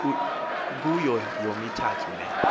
kuyo yomithathu le